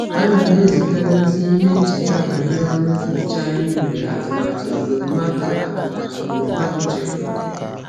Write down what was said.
Ana m ezigara ozi ihe ncheta banyere ọrụ nhicha anyị mere atụmatụ mgbe mmadụ atụmatụ mgbe mmadụ chefuru.